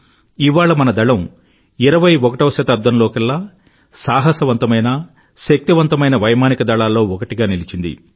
ఇవాళ మన దళం ఇరవై ఒకటవ శతాబ్దంలోకెల్లా సాహసవంతమైన శక్తివంతమైన వైమానిక దళాల్లో ఒకటిగా నిలిచింది